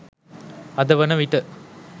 අද වන විට